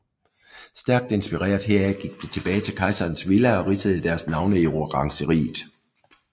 Stærkt inspireret heraf gik de tilbage til Kejserens Villa og ridsede deres navne i orangeriet